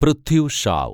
Prithvi Shaw